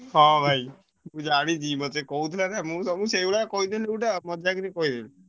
ହଁ ଭାଇ ମୁଁ ଜାଣିଛି ମତେ କହୁଥିଲ ନାଁ ମୁଁ ସବୁ ସେଇଭଳିଆ କହିଦେଲି ଗୋଟେ ଆଉ ମଜାକ ରେ କହିଦେଲି।